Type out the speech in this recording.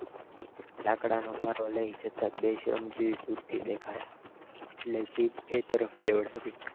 લાકડાના પાટોં લઈ જતાં બે શ્રમજીવી દૂરથી દેખાય એટલે જીપ એ તરફ લેવડાવી